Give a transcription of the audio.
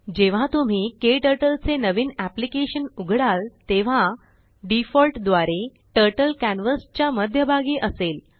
जेव्हा तुम्हीKTurtleचेनविनअेप्लीकेशनउघडालतेव्हा डिफॉल्ट द्वारे टर्टल कॅनवास च्या मध्यभागी असेल